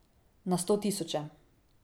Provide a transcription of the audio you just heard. Na sto tisoče.